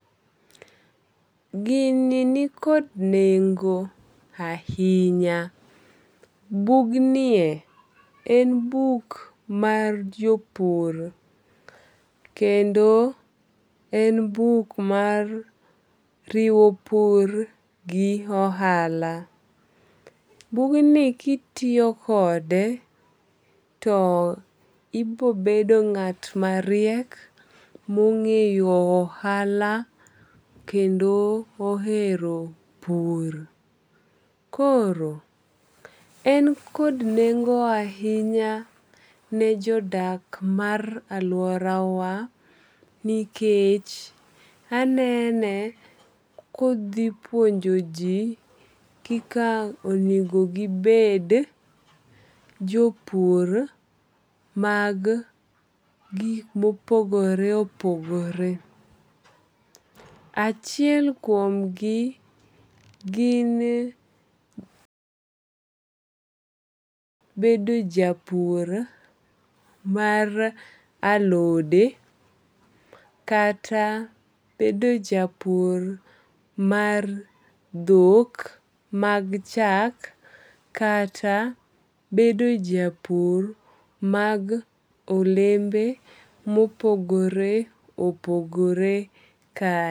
Gini ni kod nengo ahinya. Bug nie en buk mar jopur kendo en buk mar riwo pur gi ohala. Bugni kitiyo kode to ibobedo ng'at mariek mong'eyo ohala kendo ohero pur. Koro en kod nengo ahinya ne jodak mar aluora wa nikech anene kodhi puonjo ji kika onego gibed jopur mag gik mopogore opogore. Achiel kuom gi gin bedo japur mar alode kata bedo japur mar dhok mag chak kata bedo japur mag olembe mopogore opogore ka.